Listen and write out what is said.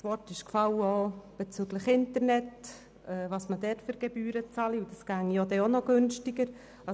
Es wurde auch erwähnt, die für das Internet bezahlten Gebühren seien zu hoch, und es gäbe günstigere Varianten.